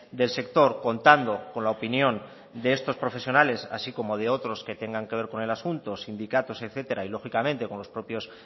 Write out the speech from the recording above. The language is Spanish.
del sector contando con la opinión de estos profesionales así como de otros que tengan que ver con el asunto sindicatos etcétera y lógicamente con los propios